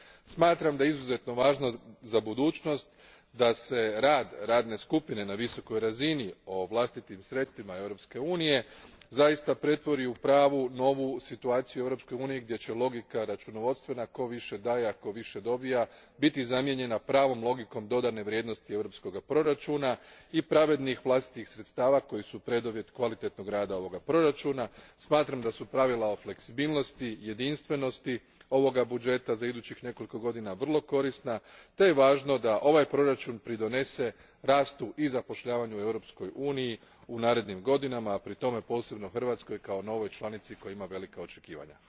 Smatram da je izuzetno važno za budućnost da se rad radne skupine na visokoj razini o vlastitim sredstvima Europske unije zaista pretvori u pravu novu situaciju u Europskoj uniji gdje će logika računovodstvena, tko više daje a tko više dobije, biti zamijenjena pravom logikom dodane vrijednosti europskog proračuna i pravednih vlastitih sredstava koja su preduvjet kvalitetnoga rada ovog proračuna. Smatram da su pravila o fleksibilnosti, jedinstvenosti ovoga budžeta za idućih nekoliko godina vrlo korisna te je važno da ovaj proračun pridonese rastu i zapošljavanju u Europskoj uniji u narednim godinama, a pri tome posebno Hrvatskoj kao novoj članici koja ima velika očekivanja.